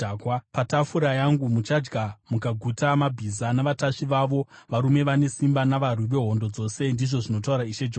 Patafura yangu muchadya mukaguta mabhiza navatasvi vavo, varume vane simba navarwi vemhando dzose,’ ndizvo zvinotaura Ishe Jehovha.